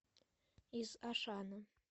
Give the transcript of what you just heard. из ашана